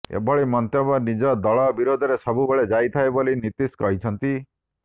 ଏଭଳି ମନ୍ତବ୍ୟ ନିଜ ଦଳ ବିରୋଧରେ ସବୁବେଳେ ଯାଇଥାଏ ବୋଲି ନୀତୀଶ କହିଛନ୍ତି